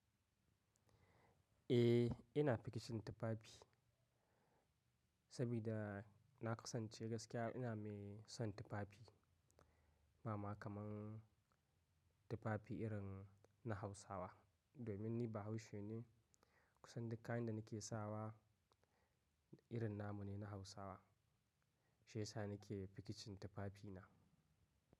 Eh, ina faking tufafi saboda na kasance gaskiya ina mai son tufafi. Ba ma kamar tufafi irin na Hausawa. Domin ni Bahaushe ne kusan dukkan kayan da nake sawa irin namu ne na Hausawa. Shi ya sa nake faking din tufafi na.